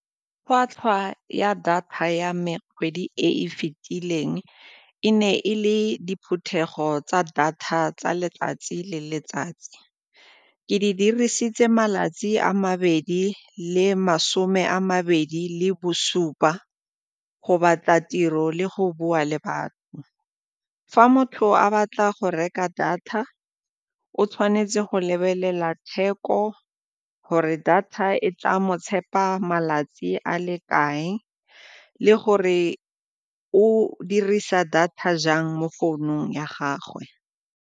Tlhwatlhwa ya data ya me kgwedi e e fitileng e ne e le diphuthego tsa data tsa letsatsi le letsatsi, ke di dirisitse malatsi a mabedi le masome a mabedi le bosupa go batla tiro le go bua le batho. Fa motho a batla go reka data o tshwanetse go lebelela theko, gore data e tla mo tshepa malatsi a le kae le gore o dirisa data jang mo founung ya gagwe.